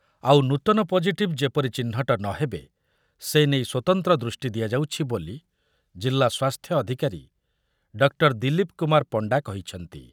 ଆଉ ନୂତନ ପଜିଟିଭ୍ ଯେପରି ଚିହ୍ନଟ ନ ହେବେ, ସେନେଇ ସ୍ୱତନ୍ତ୍ର ଦୃଷ୍ଟି ଦିଆଯାଉଛି ବୋଲି ଜିଲ୍ଲା ସ୍ୱାସ୍ଥ୍ୟ ଅଧିକାରୀ ଡକ୍ଟର ଦିଲୀପ କୁମାର ପଣ୍ଡା କହିଛନ୍ତି ।